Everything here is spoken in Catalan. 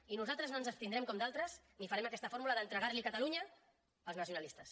i nosaltres no ens abstindrem com d’altres ni farem aquesta fórmula d’entregar li catalunya als nacionalistes